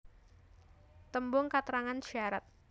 Tembung katrangan syarat